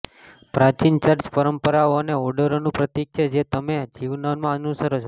પ્રાચીન ચર્ચ પરંપરાઓ અને ઓર્ડરોનું પ્રતીક છે જે તમે જીવનમાં અનુસરો છો